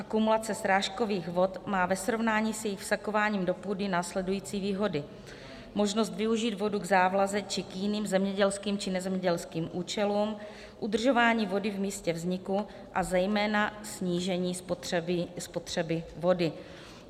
Akumulace srážkových vod má ve srovnání s jejich vsakováním do půdy následující výhody: možnost využít vodu k závlaze či k jiným zemědělským či nezemědělským účelům, udržování vody v místě vzniku a zejména snížení spotřeby vody.